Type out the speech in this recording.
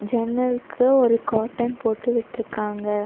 ஜன்னலுக்கு ஒரு கார்ட்டன் போட்டு விட்ருக்காங்க.